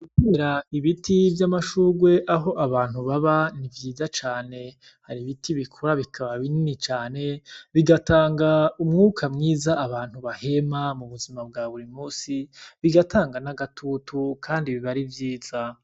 Gutera ibiti vyamashurwe aho abantu baba n'ivyiza cane hari ibiti bikura bikaba binini cane bigatanga umwuka mwiza abantu bahema m'ubuzima bwaburimunsi bigatanga n'agatutu kandi biba ari vyiza.